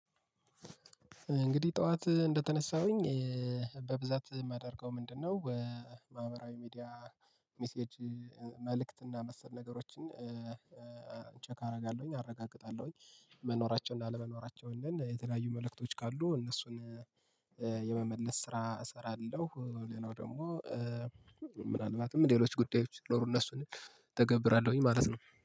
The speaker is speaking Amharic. እንግዲህ ጠዋት እንደተነሳሁኝ በብዛት የማደርገው ምንድነው በማህበራዊ ሚዲያ ሚሴጅ መልእክት እና መሰል ነገሮችን ቼክ አደርጋለሁኝ፤ አረጋግጣለሁኝ። መኖራቸውን እና አለመኖራቸውን የተለያዩ መልእክቶች ካሉ እነሱን የመመለስ ስራ እሰራለሁ። ሌላው ደግሞ ምናልባትም ሌሎች ጉዳዮች ሲኖሩ እነሱን እተገብራለሁኝ ማለት ነው።